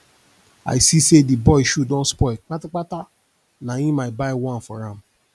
i see sey di boy shoe don spoil kpatakpata na im i buy one for am